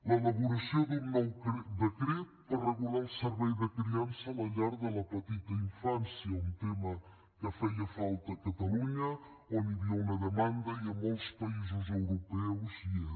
l’elaboració d’un nou decret per regular el servei de criança a la llar de la petita infància un tema que feia falta a catalunya on hi havia una demanda i en molts països europeus hi és